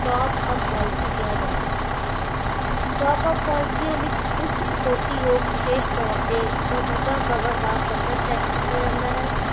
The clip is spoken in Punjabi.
top up policy ਕਿਹਾ ਜਾਂਦਾ ਹੈ top uppolicies ਵਿੱਚ ਉੱਚ ਕਟੌਤੀ ਯੋਗ ਵਿਸ਼ੇਸ਼ ਤੌਰ ਤੇ ਮੌਜੂਦਾ ਕਵਰ ਦਾ ਪੱਧਰ set ਕੀਤਾ ਜਾਂਦਾ ਹੈ